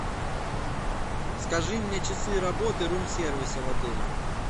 скажи мне часы работы рум сервиса в отеле